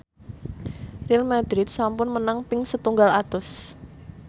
Real madrid sampun menang ping setunggal atus